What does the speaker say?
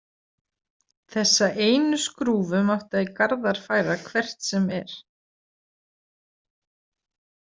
Þessa einu skrúfu mátti Garðar færa hvert sem er.